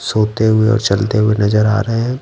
सोते हुए और चलते हुए नजर आ रहे हैं।